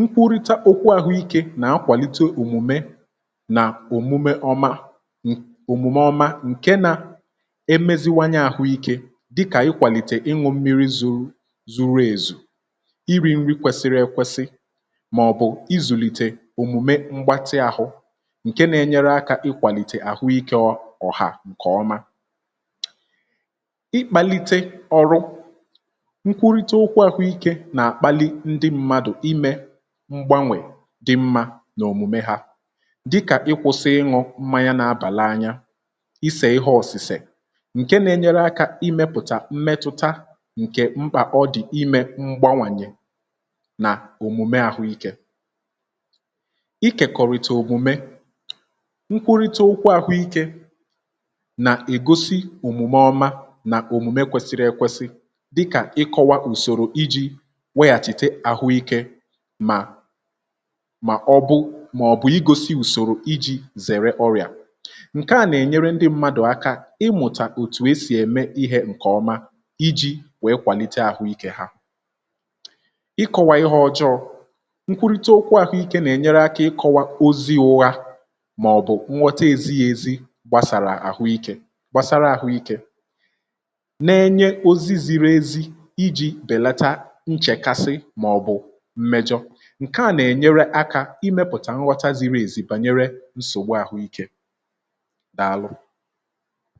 nkwurịta okwu àhụikė nà akwàlite òmùme nà òmùme ọma, òmùme ọma ǹke nà emeziwanye àhụikė dịkà ikwàlìtè ịnwụ̇ mmiri zuru èzù màọ̀bụ̀ izùlìtè òmùme mgbatị ahụ um, ǹke nȧ-ėnyere akȧ ị kwàlìtè àhụikė ọ̀hà. ǹkè ọma ịkpȧlite ọrụ nkwụrita okwu àhụikė nà-àkpalị ndị mmadụ̀ imė mgbanwè dị mmȧ n’òmùme hȧ, dịkà ịkwụ̇sị̇ ịṅụ̇ mmanya, na-abàla anya isè ihe ọ̀sị̀sè um. ǹke nȧ-ėnyere akȧ ịmėpụ̀tà mmetụta ǹkè mpà ọ dị̀ imė mgbanwànyị, ikèkọrịta òmùme, nkwụrịtà ụkwụ àhụikė, nà-egosi òmùme ọma nà òmùme kwesiri ekwesị. dịkà ịkọwa ùsòrò iji weghàchìte àhụikė mà mà ọ̀bụ̀ ịgosi ùsòrò iji zèrè ọrị̀à, ǹke à nà-ènyere ndị mmadụ̀ aka ịmụ̀tà òtù esì ème ihe ǹkè ọma iji wèe kwàlite àhụikė ha. nkwurịta okwu àhụikė nà-ènyere akȧ ịkọ̇wa ozi uha màọ̀bụ̀ nghọta èzị yȧ ezi gbàsàrà àhụikė um. gbasara àhụikė, na-enye ozi ziri ezi iji bèlata nchèkasị màọ̀bụ̀ mmejọ̇. ǹke à nà-ènyere akȧ imėpụ̀tà nghọta ziri èzị̇ bànyere nsògbu àhụikė. dàalụ.